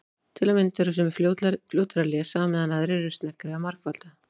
Til að mynda eru sumir fljótari að lesa á meðan aðrir eru sneggri að margfalda.